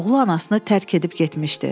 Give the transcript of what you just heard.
Oğlu anasını tərk edib getmişdi.